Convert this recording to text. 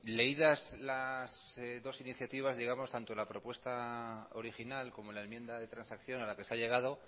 leídas las dos iniciativas digamos tanto la propuesta original como la enmienda de transacción a la que se ha llegado